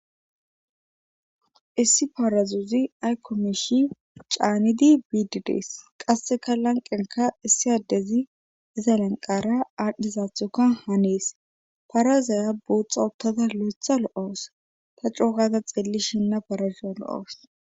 issi parazuzi aykomishi caanidi bidids qasseka lanqenka issi addezi iza lanqara aadhdhisaathuka haniis parazaya buuxxa ottada lo7etha lo7oos ta cookada xilli shinna parazuo lo7oos